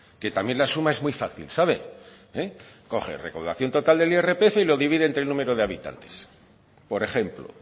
que también la suma es muy fácil sabe coge recaudación total del irpf y lo divide entre el número de habitantes por ejemplo